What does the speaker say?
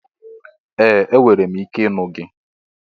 Ee! Enwere m ike ịnụ gị.